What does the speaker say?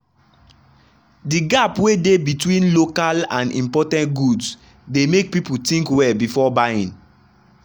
the gap wey dey between local and imported goods dey make people think well before buying.